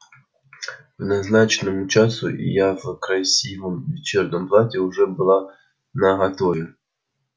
к назначенному часу я в красивом вечернем платье уже была наготове